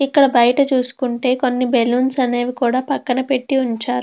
ఇక్కడ చూసుకుంటే కొన్ని బల్లోన్స్ అనేవి కూడా పాకన పేటి ఉంచారు.